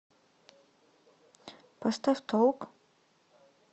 поставь толк